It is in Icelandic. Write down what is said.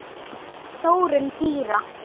Þróun dýra